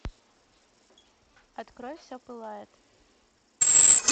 открой все пылает